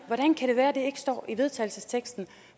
ikke står i vedtagelsesteksten